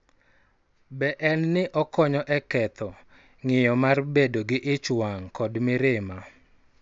Be en ni okonyo e ketho ng�iyo mar bedo gi ich wang� kod mirima.